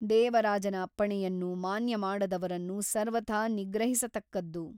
ದೇವರಾಜನ ಅಪ್ಪಣೆಯನ್ನು ಮಾನ್ಯ ಮಾಡದವರನ್ನು ಸರ್ವಥಾ ನಿಗ್ರಹಿಸತಕ್ಕದ್ದು.